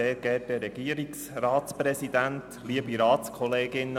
Gerber, Sie haben das Wort.